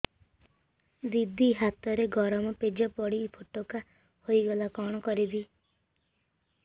ଦିଦି ହାତରେ ଗରମ ପେଜ ପଡି ଫୋଟକା ହୋଇଗଲା କଣ କରିବି